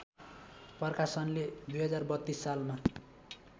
प्रकाशनले २०३२ सालमा